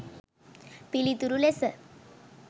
පිළිතුරු ලෙස